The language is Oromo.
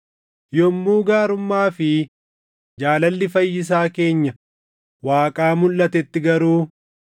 Yommuu gaarummaa fi jaalalli Fayyisaa keenya Waaqaa mulʼatetti garuu,